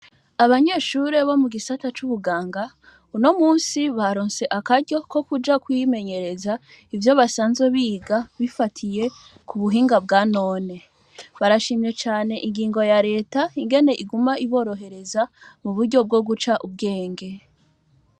Abanyeshure bo mu gisata c'ubuganga, uno musi baronse akaryo ko kuja kwimenyereza ivyo basanze biga bifatiye ku buhinga bwa none, barashimye cane ingingo ya leta ingene iguma iborohereza mu buryo bwo guca ubwenge.